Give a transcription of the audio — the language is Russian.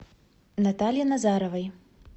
наталье назаровой